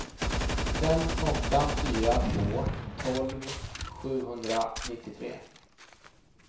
fem åtta fyra två tolv sjuhundranittiotre